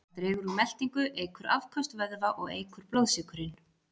Það dregur úr meltingu, eykur afköst vöðva og eykur blóðsykurinn.